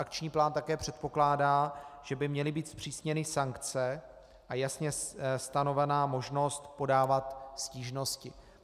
Akční plán také předpokládá, že by měly být zpřísněny sankce a jasně stanovena možnost podávat stížnosti.